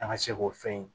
An ka se k'o fɛn in